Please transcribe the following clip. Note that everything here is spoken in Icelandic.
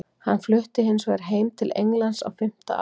Hann flutti hins vegar heim til Englands á fimmta ári.